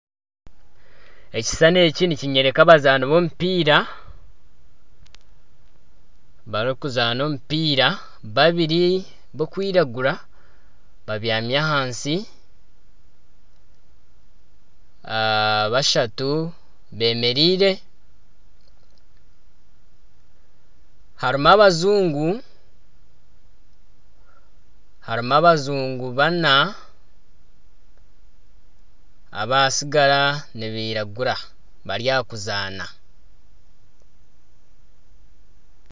Ekishushane eki nikinyoreka abazaani b'omupiira barikuzaana omupiira babiri babyami ahansi bashatu beemereire, harimu abajungu baana abatsigara nibairagura bari aha kuzaana